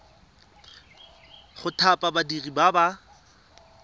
go thapa badiri ba ba